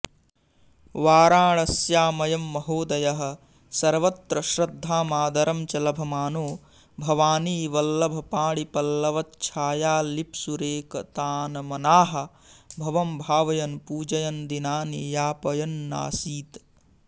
वाराणस्यामयं महोदयः सर्वत्र श्रद्धामादरं च लभमानो भवानीवल्लभपाणिपल्लवच्छायालिप्सुरेकतानमनाः भवं भावयन् पूजयन् दिनानि याष्पयन्नासीत्